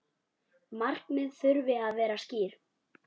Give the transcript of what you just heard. Markmið þurfi að vera skýr.